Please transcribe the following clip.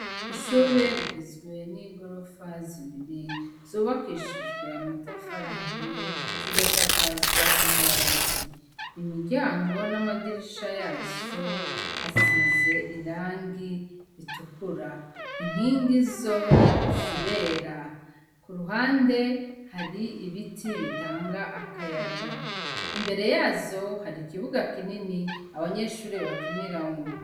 Ishure rigizwe nigorofa zibiri zubakishijwe amatafari ahiye zigasakazwa amabati imiryango namadirisha yazo asize irangi ritukura inkigi zo zirera kuruhande hari ibiti bitanga akayaga imbere yazo hari ikibuga kinini abanyeshure bakiniramwo